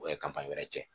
O ye kafan wɛrɛ cɛ